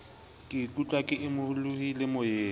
ke ikutlwa ke imolohile moyeng